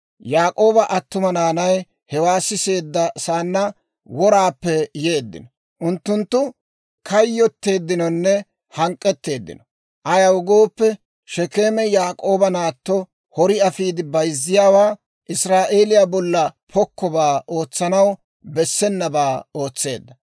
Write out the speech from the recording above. Yaak'ooba attuma naanay hewaa siseedda saanna woraappe yeeddino; unttunttu kayyotteeddinonne hank'k'eteeddino; ayaw gooppe, Shekeeme Yaak'ooba naatto hori afiide bayzziyaawaa, Israa'eeliyaa bolla pokkobaa, ootsanaw bessenabaa ootseedda.